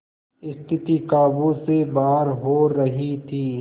स्थिति काबू से बाहर हो रही थी